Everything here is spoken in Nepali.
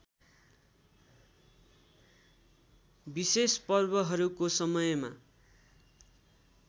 विशेष पर्वहरूको समयमा